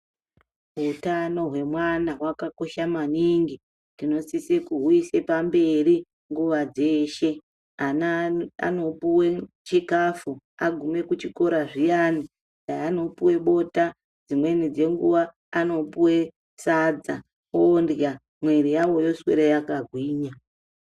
Utano hwemwana hwakakosha maningi tinosise kuhuise pamberi nguwa dzeshe ana anopuwe chikafu agume kuchikora zviyani kwaanopuwe bota dzimweni dzenguwa anopuwe sadza ondinga mwiri yawo yoswere yakagwinya.